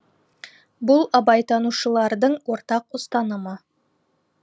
бұл абайтанушылардың ортақ ұстанымы